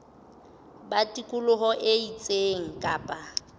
ba tikoloho e itseng kapa